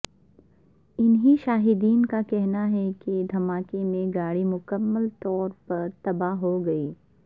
عینی شاہدین کا کہنا ہے کہ دھماکے میں گاڑی مکمل طور پر تباہ ہوگئی ہے